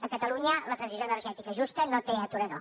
a catalunya la transició energètica justa no té aturador